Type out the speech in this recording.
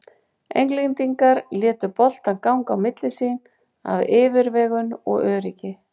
Englendingar létu boltann ganga á milli sín af yfirvegun og öryggi.